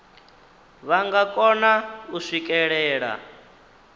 vha nga kona u swikelela